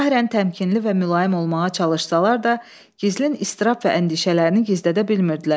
Zahirən təmkinli və mülayim olmağa çalışsalar da, gizlin istirab və əndişələrini gizlədə bilmirdilər.